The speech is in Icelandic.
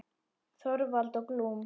Þorvald og Glúm.